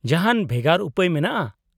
-ᱡᱟᱦᱟᱸᱱ ᱵᱷᱮᱜᱟᱨ ᱩᱯᱟᱹᱭ ᱢᱮᱱᱟᱜᱼᱟ ?